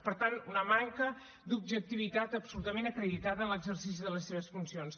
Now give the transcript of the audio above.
per tant una manca d’objectivitat absolutament acreditada en l’exercici de les seves funcions